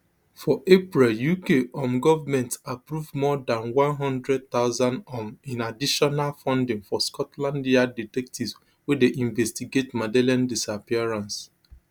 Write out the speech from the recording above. for April uk um government approve more dan one hundred thousand um in additional funding for scotland yard detectives wey dey investigate madeleine disappearance